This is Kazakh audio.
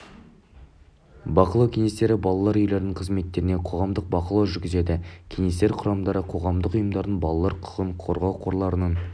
бақылау кеңестері балалар үйлерінің қызметтеріне қоғамдық бақылау жүргізеді кеңестер құрамдары қоғамдық ұйымдардың балалар құқығын қорғау қорларының